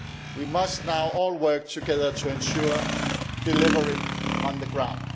We must now all work together to ensure delivery on the ground.